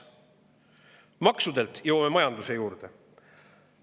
Maksude jõuame majanduse juurde.